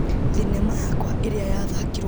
Thinema yakwa ĩrĩa yathakirwo mũno.